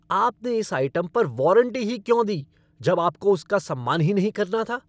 आपने इस आइटम पर वॉरंटी ही क्यों दी जब आपको उसका सम्मान ही नहीं करना था।